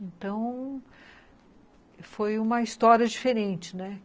Então, foi uma história diferente, né?